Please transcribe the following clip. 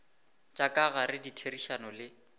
tša ka gare ditherišano le